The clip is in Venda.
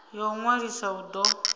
ya u ṅwalisa u do